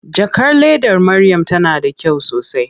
Jakar ledar Maryam tana da kyau sosai.